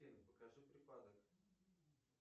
афина покажи припадок